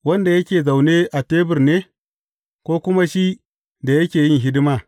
Wanda yake zaune a tebur ne, ko kuma shi da yake yin hidima?